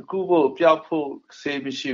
ကုဖို့၊ ပျောက်ဖို့ ဆေးမရှိ